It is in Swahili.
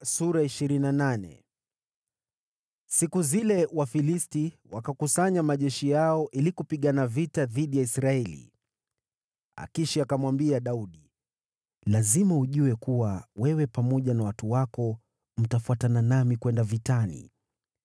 Siku zile Wafilisti wakakusanya majeshi yao ili kupigana vita dhidi ya Israeli. Akishi akamwambia Daudi, “Lazima ujue kuwa wewe pamoja na watu wako mtafuatana nami kwenda vitani.”